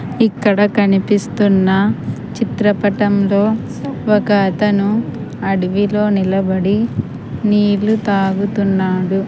ఇక్కడ కనిపిస్తున్న చిత్రపటంలో ఒక అతను అడవిలో నిలబడి నీళ్లు తాగుతున్నాడు.